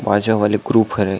बाजा वाले ग्रुप हरय।